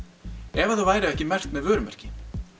ef þau væru ekki merkt með vörumerki